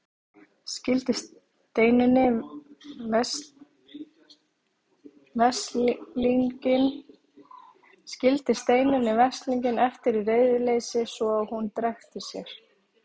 Skildi Steinunni veslinginn eftir í reiðileysi svo að hún drekkti sér.